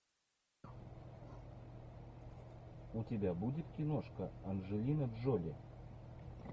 у тебя будет киношка анджелина джоли